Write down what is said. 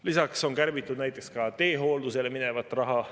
Lisaks on kärbitud näiteks ka teehooldusele minevat raha.